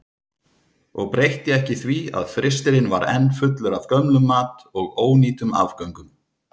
Og breytti ekki því að frystirinn var enn fullur af gömlum mat og ónýtum afgöngum.